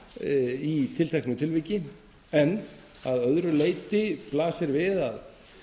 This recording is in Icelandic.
í tilteknu tilviki en að öðru leyti blasir við að